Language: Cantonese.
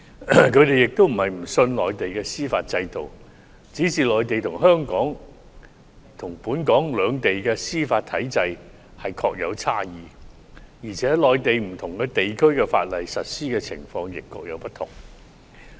他們並非不信任內地的司法制度，只是內地與本港的司法體制的確存在差異，而且內地不同地區實施法例的情況亦各有不同。